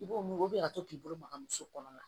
I b'o mun o bɛ ka to k'i bolo maga muso kɔnɔ